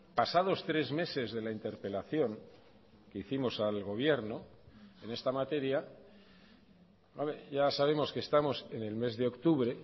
pasados tres meses de la interpelación que hicimos al gobierno en esta materia ya sabemos que estamos en el mes de octubre